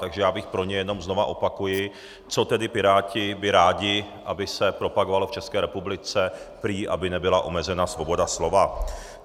Takže já bych pro něj, jenom znovu opakuji, co tedy Piráti by rádi, aby se propagovalo v České republice, prý aby nebyla omezena svoboda slova.